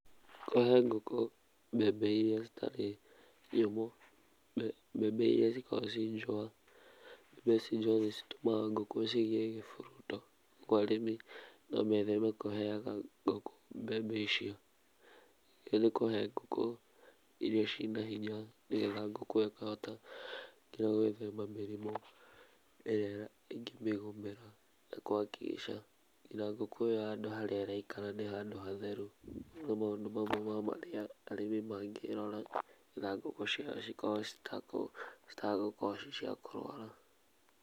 Kũhe ngũkũ mbembe ĩrĩa citarĩ nyũmũ, mbembe ĩrĩa cĩkoragwo ci njũa nĩ cĩtumaga ngũkũ cigĩi kĩhuruto, koguo arĩmi no metheme kũheaga ngũkũ mbembe icio. Nĩwagĩrĩirwo kũhe ngũkũ irio ciĩ na hinya, nĩgetha ngũkũ ĩyo ĩkahota gũithema mĩrimũ ĩrĩa ĩngĩmĩgũmĩra nakũ hakikisha nginya ngũkũ ĩyo handũ harĩa ĩraikara nĩ handũ hatheru, nĩ maũndũ mamwe ma marĩa arĩmi magĩrora na ngũkũ ciao cikorwo citagũkorwo ci cia kũrũara.